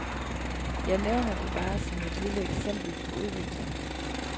Jeg nævner det bare som et lille eksempel på udvikling.